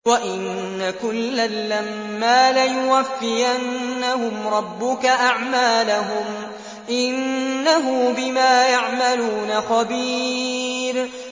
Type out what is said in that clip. وَإِنَّ كُلًّا لَّمَّا لَيُوَفِّيَنَّهُمْ رَبُّكَ أَعْمَالَهُمْ ۚ إِنَّهُ بِمَا يَعْمَلُونَ خَبِيرٌ